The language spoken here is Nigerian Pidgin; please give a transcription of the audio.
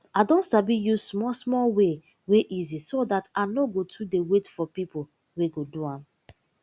i don sabi use small small way wey easy so dat i nor go too de wait for pipo wey go do am